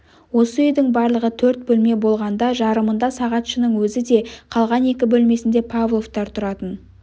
осы үйдің барлығы төрт бөлме болғанда жарымында сағатшының өзі де қалған екі бөлмесінде павловтар тұратын